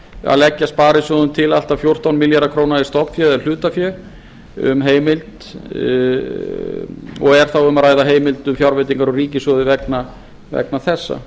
að leggja sparisjóðum til allt að fjórtán milljarða króna í stofnfé eða hlutafé og er þá um að ræða heimild um fjárveitingar úr ríkissjóði vegna þessa